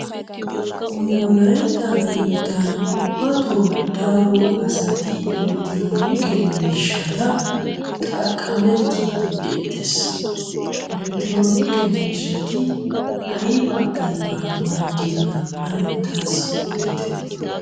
Nu wolaytta biittan ubbatto daro asati Elektronike miishshata xaqameettide beettees. Elektronike miishshati aybba aybba maaddiyoona ane taassi oditye.